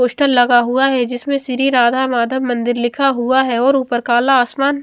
poster लगा हुआ है जिसमे श्री राधा माधव मंदिर लिखा हुआ है और ऊपर काला आसमान --